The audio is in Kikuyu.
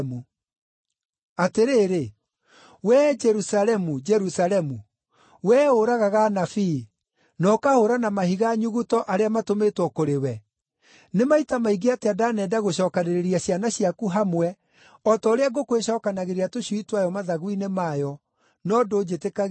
“Atĩrĩrĩ, wee Jerusalemu, Jerusalemu, wee ũragaga anabii, na ũkahũũra na mahiga nyuguto arĩa matũmĩtwo kũrĩ we, nĩ maita maingĩ atĩa ndanenda gũcookanĩrĩria ciana ciaku hamwe o ta ũrĩa ngũkũ ĩcookanagĩrĩria tũcui twayo mathagu-inĩ mayo, no ndũnjĩtĩkagĩria!